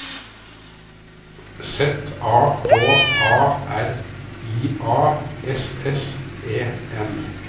Z A K A R I A S S E N